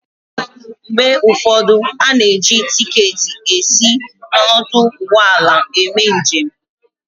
Mgbe ụfọdụ, a na-eji tiketi esi n'ọdụ ụgbọala eme njem